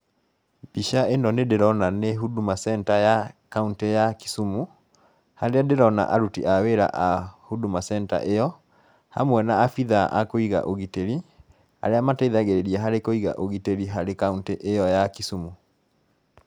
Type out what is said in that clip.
Mbica ĩno nĩ ndĩrona nĩ Huduma Center ya kauntĩ ya Kisumu , harĩa ndĩrona aruti a wĩra a Huduma Center ĩyo, hamwe na abithaa a kũiga ũgitĩri arĩa mateithagĩrĩria harĩ kũiga ũgitĩri harĩ kauntĩ ĩyo ya Kisumu